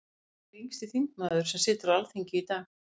Hver er yngsti þingmaður sem situr á Alþingi í dag?